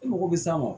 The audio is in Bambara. E mago bɛ s'an ma